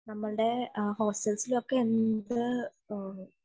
നമ്മളുടെ എ ഹോസ്റ്റൽസിലൊക്കെ എന്ത് നമ്മളുടെ